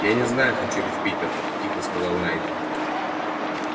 я не знаю хочу ли в питер тихо сказал найд